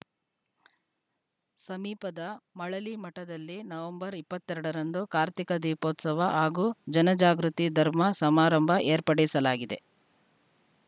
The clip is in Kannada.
ಸಮೀಪದ ಮಳಲಿಮಠದಲ್ಲಿ ನವಂಬರ್ ಇಪ್ಪತ್ತ್ ಎರಡರಂದು ಕಾರ್ತಿಕ ದೀಪೋತ್ಸವ ಹಾಗೂ ಜನಜಾಗೃತಿ ಧರ್ಮ ಸಮಾರಂಭ ಏರ್ಪಡಿಸಲಾಗಿದೆ